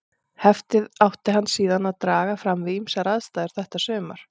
Heftið átti hann síðan eftir að draga fram við ýmsar aðstæður þetta sumar.